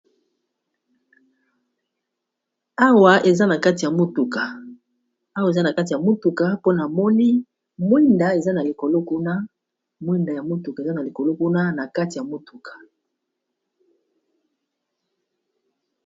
Awa eza na kati ya motuka ,bafungoli na sima ya mutuka pe ba tomboli ba kiti ya mituka.